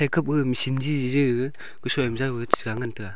kap gaga machine jiji ga kashoi ma jau gaga chesha ngan taga.